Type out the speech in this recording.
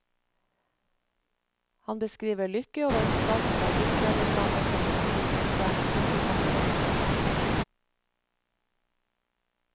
Han beskriver lykke og vennskap, der lykke er det samme som velsignelse, ikke fornøyelse.